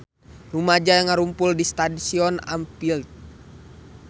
Rumaja ngarumpul di Stadion Anfield